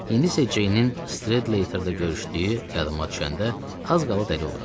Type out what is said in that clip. İndi isə Ceynin Stredleyterdə görüşdüyü yadıma düşəndə az qala dəli oluram.